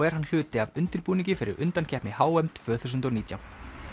er hluti af undirbúningi fyrir undankeppni h m tvö þúsund og nítján